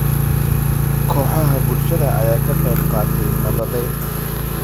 Kooxaha bulshada ayaa ka qayb qaatay nabadaynta.